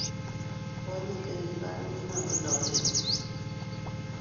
kwonyik che kikipar ko kimatindo lelut